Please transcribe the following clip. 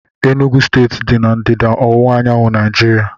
Enugwu steeti dị na ndịda ọwụwa anyanwụ Naijiria